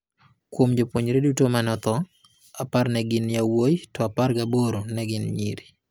Kuom jopuonjre duto ma ne otho, apar ne gin yawuowi to apar ga aboro ne gin nyiri.